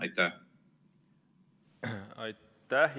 Aitäh!